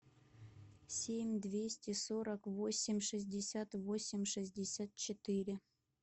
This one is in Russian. семь двести сорок восемь шестьдесят восемь шестьдесят четыре